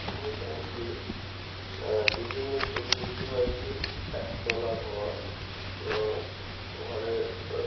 আমরা এখানে একটি আহ বিল্ডিং এর ছবি দেখতে পাচ্ছি একতলা ঘর এবং ঘরে আহ--